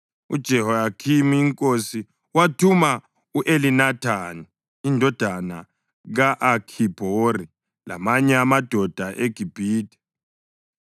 UJehoyakhimi inkosi, wathuma u-Elinathani indodana ka-Akhibhori lamanye amadoda eGibhithe.